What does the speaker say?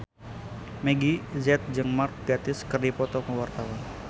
Meggie Z jeung Mark Gatiss keur dipoto ku wartawan